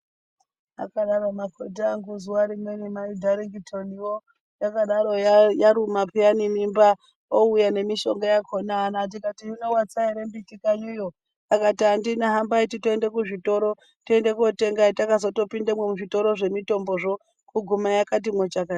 Akodaro makhoti angu zuwa rimweni maDharngitoniwo akaro yaruma paini mimba ouya nemishonga akona aana tikati hino watsa ere mbiti kanyi iyo akatiandina hambayi titoenda kuzvitoro tiende kotenga hetakazo pindemwo muzvitora zvemutombozvo kuguma yakatimwo chakata.